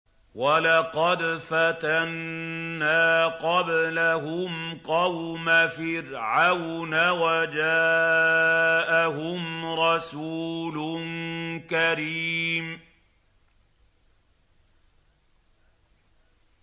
۞ وَلَقَدْ فَتَنَّا قَبْلَهُمْ قَوْمَ فِرْعَوْنَ وَجَاءَهُمْ رَسُولٌ كَرِيمٌ